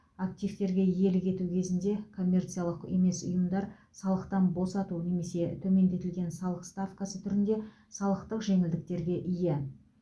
активтерге иелік ету кезінде коммерциялық емес ұйымдар салықтан босату немесе төмендетілген салық ставкасы түрінде салықтық жеңілдіктерге ие